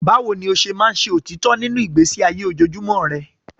Báwo ni o ṣe máa ń ṣe òtítọ́ nínú ìgbésí ayé ojoojúmọ́ rẹ?